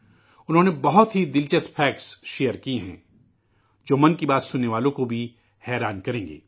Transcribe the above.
انہوں نے بہت ہی دلچسپ حقائق شیئر کی ہیں جو 'من کی بات' سننے والوں کو بھی حیران کریں گی